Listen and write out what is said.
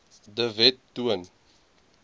de wet toon